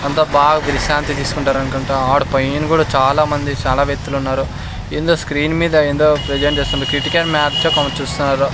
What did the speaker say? అంత బాగా విశ్రాంతి తీసుకుంటారు అనుకుంట ఆడ పైన కూడా చాలా మంది చాలా వ్యక్తులు ఉన్నారు ఏందో స్క్రీన్ మీద ఏందో ప్రజెంట్ చేస్తున్నారు ఇక్కడ చూస్తున్నారు.